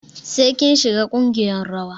Sai kin shiga ƙungiyar rawa.